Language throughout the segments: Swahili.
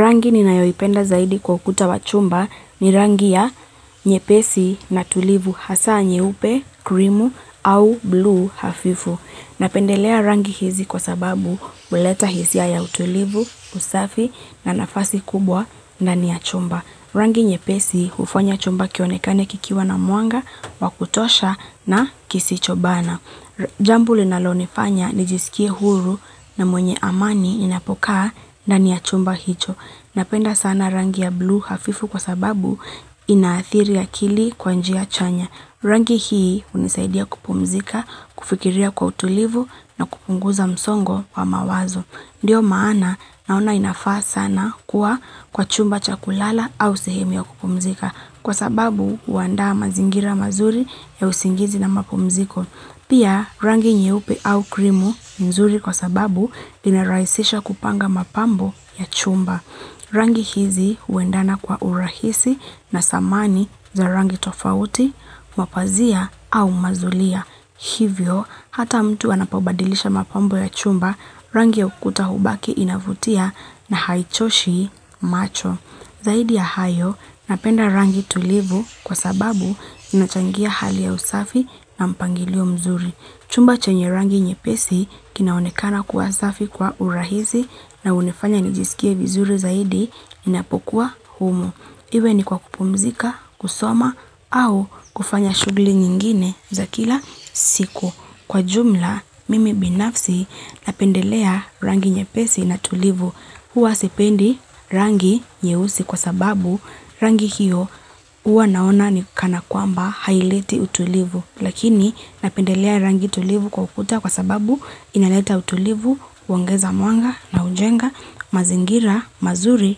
Rangi ninayoipenda zaidi kwa ukuta wa chumba ni rangi ya nyepesi na utulivu hasa nyeupe, krimu au blue hafifu. Napendelea rangi hizi kwa sababu huleta hisia ya utulivu, usafi na nafasi kubwa ndani ya chumba. Rangi nyepesi hufanya chumba kionekane kikiwa na mwanga, wa kutosha na kisicho bana. Jambo linalonefanya ni jisikie huru na mwenye amani ninapokaa ndani ya chumba hicho Napenda sana rangi ya bluu hafifu kwa sababu inaathiri akili kwanji ya chanya Rangi hii unisaidia kupumzika, kufikiria kwa utulivu na kupunguza msongo kwa mawazo Ndiyo maana nauna inafaa sana kuwa kwa chumba cha kulala au sehemu ya kupumzika Kwa sababu huandaa mazingira mazuri ya usingizi na mapumziko Pia rangi nyeupe au krimu nzuri kwa sababu inarahisisha kupanga mapambo ya chumba. Rangi hizi huendana kwa urahisi na samani za rangi tofauti, mapazia au mazulia. Hivyo, hata mtu anapobadilisha mapambo ya chumba, rangi ya ukuta hubaki inavutia na haichoshi macho. Zaidi ya hayo napenda rangi tulivu kwa sababu inachangia hali ya usafi na mpangilio mzuri. Chumba chenye rangi nyepesi kinaonekana kuwa usafi kwa urahisi na unifanya nijisikie vizuri zaidi ninapokuwa humo. Iwe ni kwa kupumzika, kusoma au kufanya shugli nyingine za kila siku. Kwa jumla, mimi binafsi napendelea rangi nyepesi na tulivu. Huwa sependi rangi nyeusi kwa sababu rangi hiyo uwa naona ni kana kwamba haileti utulivu. Lakini napendelea rangi tulivu kwa ukuta kwa sababu inaleta utulivu, uongeza mwanga na ujenga, mazingira, mazuri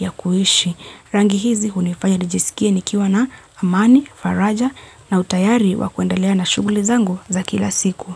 ya kuishi. Rangi hizi unifanya nijisikie nikiwa na amani, faraja na utayari wa kuendelea na shuguli zangu za kila siku.